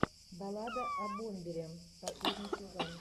баллада о бомбере последний сезон